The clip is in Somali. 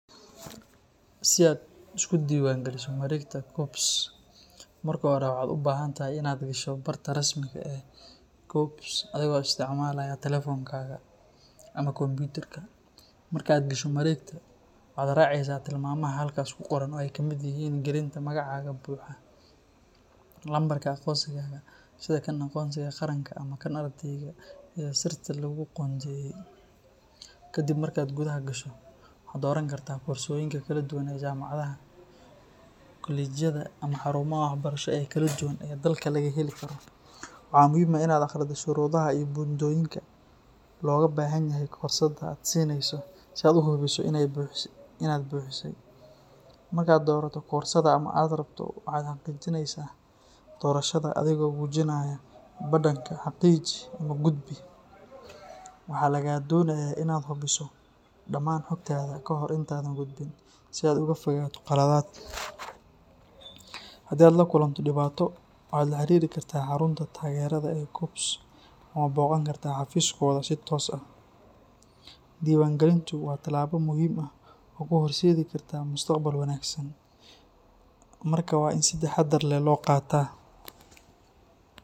Si aad isugu diiwaangeliso mareegta KUCCPS, marka hore waxaad u baahan tahay inaad gasho barta rasmiga ah ee KUCCPS adigoo adeegsanaya taleefankaaga ama kombiyuutarka. Marka aad gasho mareegta, waxaad raacaysaa tilmaamaha halkaas ku qoran oo ay ka mid yihiin gelinta magacaaga buuxa, lambarka aqoonsigaaga sida kan aqoonsiga qaranka ama kan ardayga, iyo sirta laguu qoondeeyey. Kadib markaad gudaha gasho, waxaad dooran kartaa koorsooyinka kala duwan ee jaamacadaha, kolleyjada ama xarumaha waxbarasho ee kala duwan ee dalka laga heli karo. Waxaa muhiim ah in aad akhrido shuruudaha iyo buundooyinka looga baahan yahay koorsada aad xiisaynayso si aad u hubiso inaad buuxisay. Marka aad doorato koorsada aad rabto, waxaad xaqiijinaysaa doorashadaada adigoo gujinaya badhanka "Xaqiiji" ama "Gudbi". Waxaa lagaa doonayaa in aad hubiso dhammaan xogtaada kahor intaadan gudbin si aad uga fogaato khaladaad. Haddii aad la kulanto dhibaato, waxaad la xiriiri kartaa xarunta taageerada ee KUCCPS ama booqan kartaa xafiiskooda si toos ah. Diiwaangelintu waa tallaabo muhiim ah oo kuu horseedi karta mustaqbal wanaagsan, marka waa in si taxaddar leh loo qaataa.